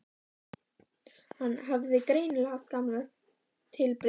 Hann hafði greinilega haft gaman af tilbreytingunni.